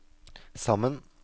sammen